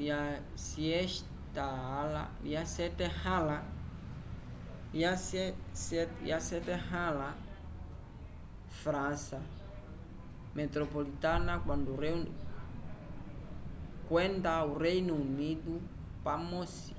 lya syetahala frança metropolitana kwenda o reino unido pamosi